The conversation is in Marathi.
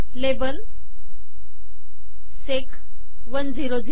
label SEC 100